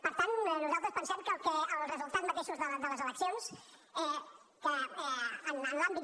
per tant nosaltres pensem que els resultats mateixos de les eleccions que en l’àmbit